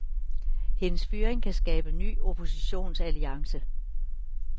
Hendes fyring kan skabe ny oppositionsalliance.